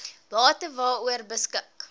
bate waaroor beskik